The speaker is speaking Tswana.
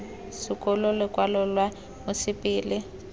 sekolo lokwalo lwa mosepele la